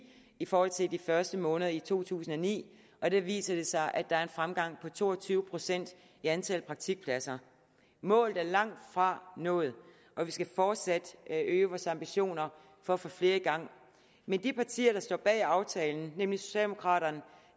i forhold til de første måneder i to tusind og ni og der viser det sig at der en fremgang på to og tyve procent i antallet af praktikpladser målet er langtfra nået og vi skal fortsat øge vores ambitioner for at få flere i gang men de partier der står bag aftalen nemlig socialdemokraterne